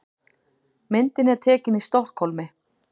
Myndin er tekin í Stokkhólmi.